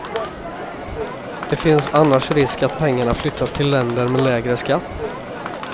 Det finns annars risk att pengarna flyttas till länder med lägre skatt.